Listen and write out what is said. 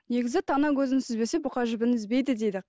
негізі тана көзін сүзбесе бұқа жібін үзбейді дейді